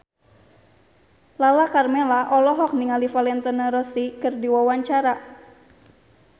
Lala Karmela olohok ningali Valentino Rossi keur diwawancara